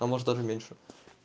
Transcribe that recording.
а может даже меньше